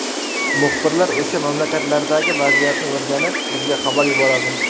Muxbirlar o‘sha mamlakatlardagi vaziyatni o‘rganib, bizga xabar yuboradi.